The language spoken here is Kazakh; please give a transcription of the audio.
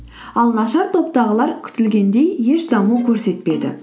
ал нашар топтағылар күтілгендей еш даму көрсетпеді